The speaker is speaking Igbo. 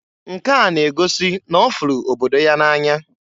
Nke a n'egosi n'ọfụlụ obodo ya na-anya.